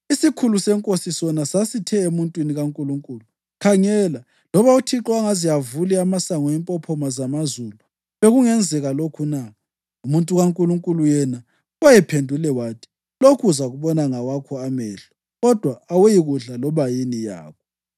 Isikhulu senkosi sona sasithe emuntwini kaNkulunkulu, “Khangela, loba uThixo angaze avule amasango empophoma zamazulu bekungenzeka lokhu na?” Umuntu kaNkulunkulu yena wayephendule wathi, “Lokhu uzakubona ngawakho amehlo, kodwa awuyikudla loba yini yakho!”